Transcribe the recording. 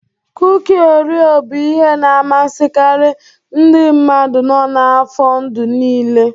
Kuki Oreo bụ ihe na-amasịkarị ndị mmadụ nọ n'afọ ndụ niile.